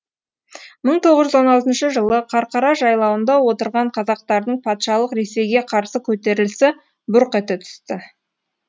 мың тоғыз жүз он алтыншы жылы қарқара жайлауында отырған қазақтардың патшалық ресейге қарсы көтерілісі бұрқ ете түсті